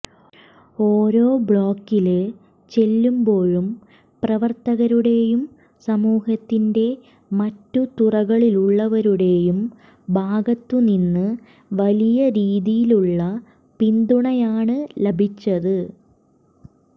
ഓരോ ബ്ലോക്കില് ചെല്ലുമ്പോഴും പ്രവര്ത്തകരുടേയും സമൂഹത്തിന്റെ മറ്റ് തുറകളിലുള്ളവരുടേയും ഭാഗത്തുനിന്ന് വലിയ രീതിയിലുള്ള പിന്തുണയാണ് ലഭിച്ചത്